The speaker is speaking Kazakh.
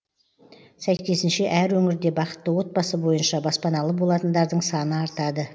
сәйкесінше әр өңірде бақытты отбасы бойынша баспаналы болатындардың саны артады